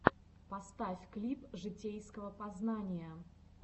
поставь клип житейского познания